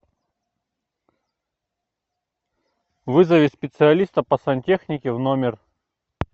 вызови специалиста по сантехнике в номер